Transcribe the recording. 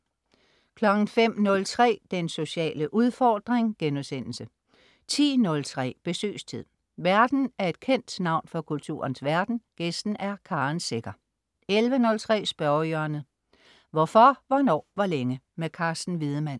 05.03 Den sociale udfordring* 10.03 Besøgstid. Værten er et kendt navn fra kulturens verden, gæsten er Karen Secher 11.03 Spørgehjørnet. Hvorfor, hvornår, hvor længe? Carsten Wiedemann